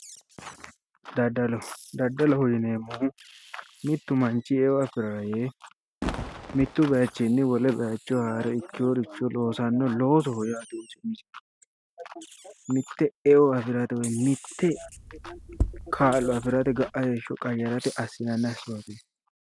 Daddallo ,daddalloho yineemmohu mitu manchi eo afirara yee mitu bayichinni haare ikkeyoricho saysanoho loosoho yaate ,mite eo afirate woyi mite kaa'lo afirate heeshsho woyyeesate